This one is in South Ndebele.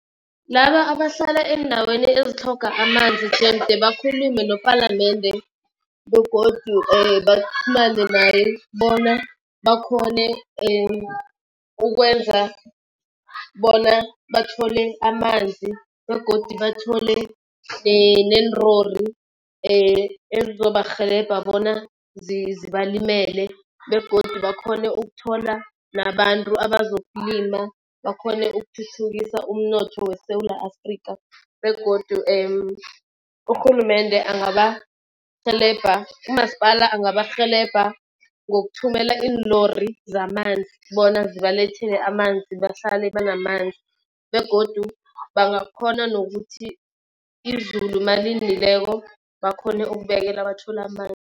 Laba abahlala eendaweni ezitlhoga amanzi jemde bakhulume nepalamende begodu baqhumane naye bona bakhone ukwenza bona bathole amanzi begodu bathole nenlori ezizobarhelebha bona zibalimele begodu bakhone ukuthola nabantu abazokulima bakhone ukuthuthukisa umnotho weSewula Afrikha. Begodu urhulumende angabarhelebha, umasipala angabarhelebha ngokuthumela iinlori zamanzi, bona zibalethele amanzi bahlale banamanzi begodu bangakhona nokuthi izulu malinileko bakhone ukubekela bathole amanzi.